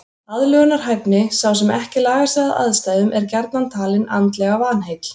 Aðlögunarhæfni Sá sem ekki lagar sig að aðstæðum er gjarnan talinn andlega vanheill.